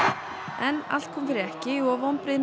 en allt kom fyrir ekki og vonbrigðin